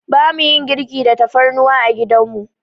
Bamu yin girki da tafarnuwa a gidan mu.